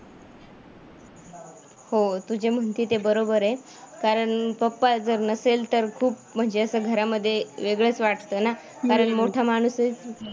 हो तू जे म्हणती ते बरोबर आहे, कारण पप्पा जर नसेल तर खूप म्हणजे असं घरामध्ये वेगळंच वाटतं ना कारण मोठा माणूसच